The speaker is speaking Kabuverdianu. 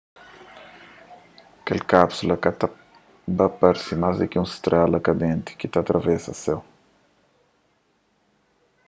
kel kápsula ta ba parse más ku un strela kandenti ki ta atravesa séu